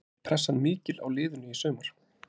Er pressan mikil á liðinu í sumar?